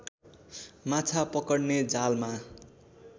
माछा पकड्ने जालमा